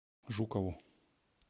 жукову